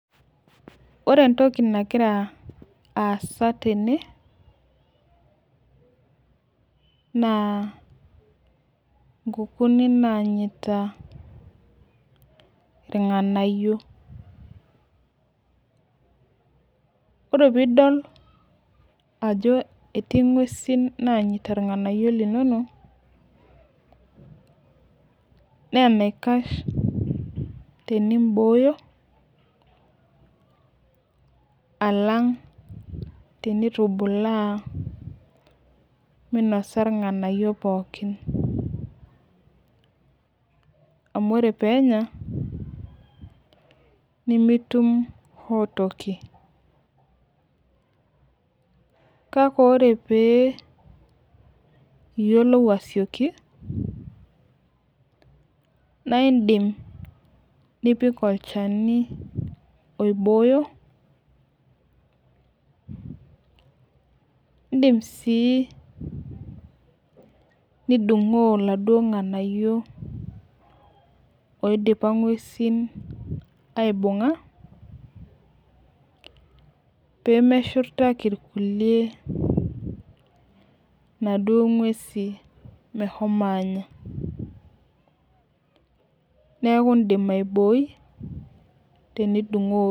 Ore entoki nagira aasa tene, naa inkukuuni nanyita irng'anayio. Ore pidol ajo etii ng'uesin nanyita irng'anayio linonok, na enaikash tenibooyo, alang tenitubulaa minasa irng'anayio pookin. Amu ore penya, nimitum hoo toki. Kake ore pee iyiolou asioki, naidim nipik olchani oibooyo, idim si nidung'oo laduo ng'anayio oidipa ng'uesin aibung'a, pemeshurtaki irkulie naduo ng'uesi meshomo anya. Neeku idim aibooi, tenidung'oo.